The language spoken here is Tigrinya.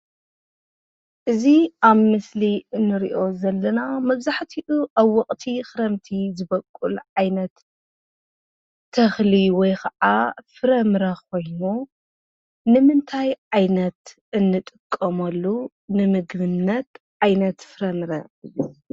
እዚ ኣብ ምስሊ እንሪኦ ዘለና መብዛሕቲኡ ኣብ ወቕቲ ኽረምቲ ዝበቁል ዓይነት ተኽሊ ወይ ከዓ ፍረምረ ኾይኑ ንምንታይ ዓይነት እንጥቀመሉ ንምግብነት ዓይነት ፍረምረ እዩ ?